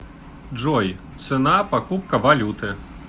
джой цена покупка валюты